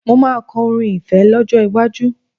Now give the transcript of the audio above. Mo máa kọ orin ìfẹ́ lọ́jọ́ iwájú